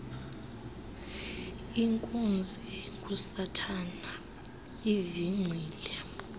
inkunzi engusathana ivingcile